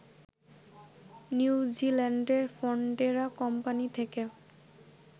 নিউজিল্যান্ডের Fonterra company থেকে